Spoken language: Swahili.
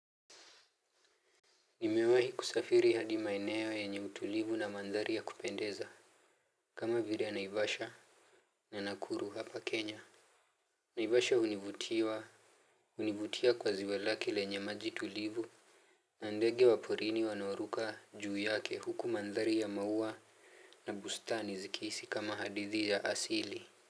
Nimewahi kusafiri hadi maeneo yenye utulivu na mandhari ya kupendeza. Kama vile naivasha. Na nakuru hapa Kenya. Naivasha univutiwa. Hunivutia kwa ziwa lake lenye maji tulivu. Na ndege wa porini wanaoruka juu yake huku mandhari ya maua na bustani zikihisi kama hadithi ya asili.